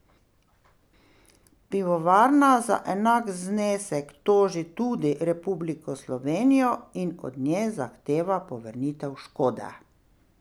Pivovarna za enak znesek toži tudi Republiko Slovenijo in od nje zahteva povrnitev škode.